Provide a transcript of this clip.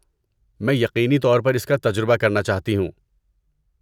میں یقینی طور پر اس کا تجربہ کرنا چاہتی ہوں۔